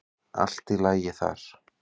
Allt í lagi þar.